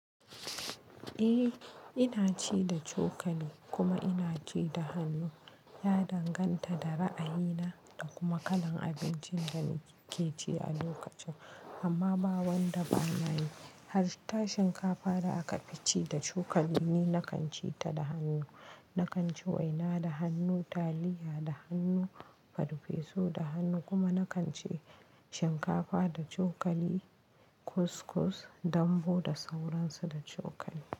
Eh ina ci da cokali kuma ina ci da hannu. Ya danganta da ra'ayina da kuma kalan abincin da nake ci a lokacin amma ba wanda bana yi. Has ta shinkafa da aka fi ci da cokali ni na kan ci ta da hannu. Na kan ci waina da hannu, taliya da hannu, farfesu da hannu kuma na kan ci shinkafa da cokali, kuskus, dambu da sauran su da cokali.